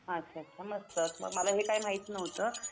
अच्छा अच्छा मस्तंच मग मला हे काही माहिती नव्हतं.